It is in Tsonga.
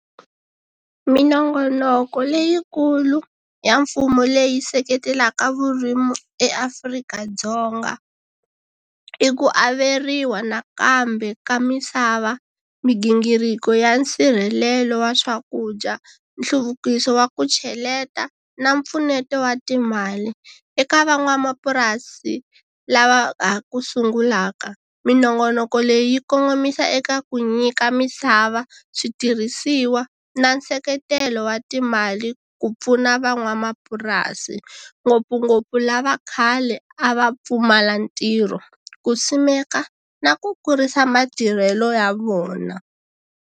Minongonoko leyikulu ya mfumo leyi seketelaka vurimi eAfrika-Dzonga i ku averiwa nakambe ka misava, migingiriko ya nsirhelelo wa swakudya, nhluvukiso wa ku cheleta na mpfuneto wa timali eka van'wamapurasi lava ha ku sungulaka minongonoko leyi kongomisa eka ku nyika misava, switirhisiwa na nseketelo wa timali ku pfuna van'wamapurasi ngopfungopfu lava khale a va pfumala ntirho ku simeka na ku kurisa matirhelo ya vona.